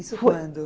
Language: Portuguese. Isso quando?